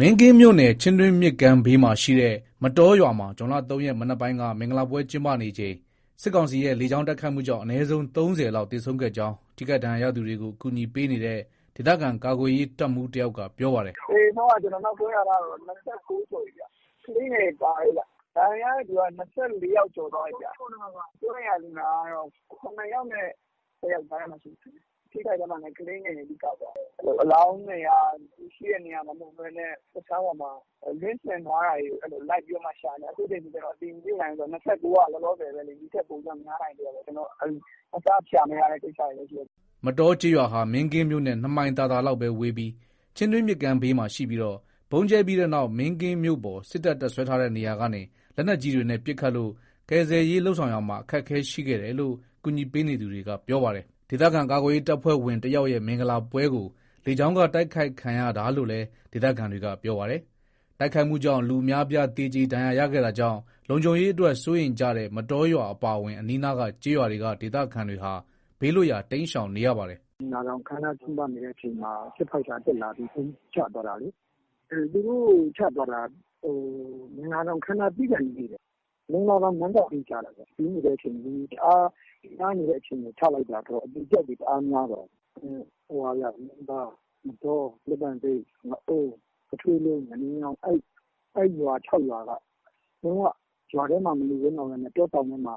မင်းကင်းမြို့နယ် ချင်းတွင်းမြစ်ဘေးမှာရှိတဲ့ မတောရွာမှာ ဇွန် ၃ ရက် မနက်ပိုင်းက မင်္ဂလာပွဲ ကျင်းပနေချိန် စစ်ကောင်စီရဲ့ လေကြောင်း တိုက်ခိုက်မှုကြောင့် အနည်းဆုံး ၃၀ လောက် သေဆုံးခဲ့ကြောင်း ထိခိုက်ဒဏ်ရာရသူတွေကို အကူအညီပေးနေတဲ့ ဒေသခံ ကာကွယ်ရေးတပ်မှူး တယောက်က ပြောပါတယ်။ "သေဆုံးက နောက်ဆုံးရထားတာ ၂၉ ကျော်ပြီခင်ဗျ။ ကလေးငယ်တွေပါတယ်။ ဒဏ်ရာရတဲ့သူတွေက ၂၄ ယောက်ကျော်သွားပြီ။ စိုးရိမ်ရတဲ့သူက ၇ ယောက်နဲ့ ၁၀ ယောက်ကြားထဲမှာရှိတယ်။ ထိခိုက်တဲ့ထဲမှာလည်း ကလေးငယ်တွေ အဓိက ပါတာပေါ့။အလောင်းတွေက ရှိတဲ့နေရာမှာ မဟုတ်ဘဲနဲ့ လွင့်စင်ထားတာတွေ လိုက်ပြီးတော့မှ ရှာနေတယ်။ အခုအတည်ပြုနိုင်တာက ၂၉ ယောက် လောလောဆယ်ပဲလေ။အခုထက်လည်း ပိုပြီးတော့ များနိုင်သေးတာပေါ့။ အစ ရှာမရတဲ့ ကိစ္စတွေလည်း ရှိတယ်။" မတောကျေးရွာဟာ မင်းကင်းမြို့နဲ့ ၂ မိုင်သာသာလောက်ဝေးပြီး ချင်းတွင်းမြစ်ဘေးမှာရှိပြီးတော့ ဗုံးကြဲပြီးနောက် မင်းကင်းမြို့ပေါ် စစ်တပ် တပ်စွဲထားတဲ့နေရာကနေ လက်နက်ကြီးတွေ ပစ်ခတ်လို့ ကယ်ဆယ်ရေးလုပ်ဆောင်ရာမှာ အခက်အခဲရှိခဲ့တယ်လို့ ကူညီပေးနေသူတွေက ပြောပါတယ်။ ဒေသခံ ကာကွယ်ရေးတပ်ဖွဲ့ဝင် တယောက်ရဲ့ မင်္ဂလာပွဲကို လေကြောင်းက တိုက်ခိုက်ခံရတာလို့လည်း ဒေသခံတွေက ပြောပါတယ်။ တိုက်ခိုက်မှုကြောင့် လူအများအပြား သေကျေ ဒဏ်ရာရခဲ့တာကြောင့် လုံခြုံရေးအတွက် စိုးရိမ်ကြတဲ့ မတောရွာအပါအဝင် အနီးနားက ကျေးရွာတွေက ဒေသခံတွေဟာ ဘေးလွတ်ရာ တိမ်းရှောင်နေရပါတယ်။ "မင်္ဂလာဆောင်ကျင်းပနေတဲ့အချိန်မှာ ဂျက်ဖိုက်တာ တက်လာပြီး ဗုံးချသွားတာလေ။ သူတို့ချသွားတာ မင်္ဂလာဆောင်ပြီးကာနီးလေးခင်ဗျ။ မင်္ဂလာဆောင် မဏ္ဍပ်ဘေး ကျတာခင်ဗျ။ လူစည်နေတဲ့အချိန် လူတွေတအားများတဲ့အချိန် ချလိုက်တာဆိုတော့ အသေအပျောက်တွေ တအားများသွားတာ။ ယုံသာ ၊ မတော ၊ လက်ပံဆိပ် ၊ ငအုန်း ၊ ပုထိုးလုံး ၊ ငအုန်းချောင်း အဲ့ရွာ ၆ ရွာကလုံး၀ ရွာထဲမှာ မနေရဲတော့ဘဲနဲ့ တောတောင်တွေထဲမှာ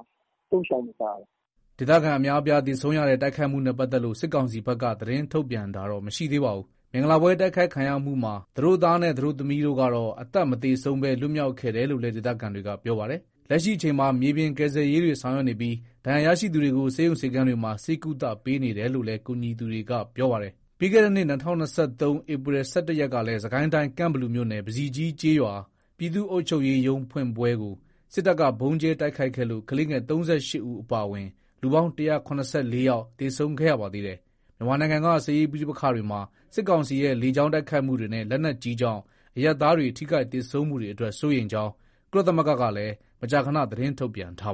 ပုန်းရှောင်နေကြရတယ်။ " ဒေသခံအများအပြား သေဆုံးရတဲ့ တိုက်ခိုက်မှုနဲ့ ပတ်သက်လို့ စစ်ကောင်စီဘက်က သတင်းထုတ်ပြန်တာတော့ မရှိသေးပါဘူး။ မင်္ဂလာပွဲ တိုက်ခိုက်ခံရမှုမှာ သတို့သားနဲ့သတို့သမီးတို့ကတော့ အသက်မသေဆုံးဘဲ လွတ်မြောက်ခဲ့တယ်လို့လည်း ဒေသခံတွေက ပြောပါတယ်။ လက်ရှိအချိန်မှာ မြေပြင်ကယ်ဆယ်ရေးတွေဆောင်ရွက်နေပြီး ဒဏ်ရာရရှိသူတွေကို ဆေးရုံဆေးခန်းတွေမှာ ဆေးကုသပေးနေတယ်လို့လည်း ကူညီပေးနေသူတွေက ပြောပါတယ်။ ပြီးခဲ့တဲ့နှစ် ၂၀၂၃ ဧပြီ ၁၁ ရက် ကလည်း စစ်ကိုင်းတိုင်း ကန့်ဘလူခရိုင် ပဇီကြီးကျေးရွာ ပြည်သူ့အုပ်ချုပ်ရေး ရုံးဖွင့်ပွဲကို စစ်တပ်က ဗုံးကြဲတိုက်ခိုက်ခဲ့လို့ ကလေးငယ် ၃၈ ဦး အပါအဝင် လူပေါင်း ၁၇၄ ဦး သေဆုံးခဲ့ရပါသေးတယ်။ မြန်မာနိုင်ငံက စစ်ရေးပဋိပက္ခတွေမှာ စစ်ကောင်စီရဲ့ လေကြောင်းတိုက်ခိုက်မှုတွေနဲ့ လက်နက်ကြီးကြောင့် အရပ်သားတွေ ထိခိုက်သေဆုံးမှုတွေအတွက် စိုးရိမ်ကြောင်း ကုလသမဂ္ဂကလည်း မကြာခဏ သတင်းထုတ်ပြန်ထားပါ